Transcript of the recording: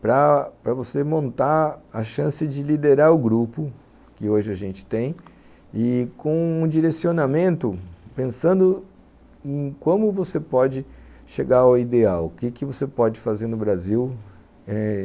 para para você montar a chance de liderar o grupo que hoje a gente tem e com um direcionamento pensando em como você pode chegar ao ideal, o que que você pode fazer no Brasil eh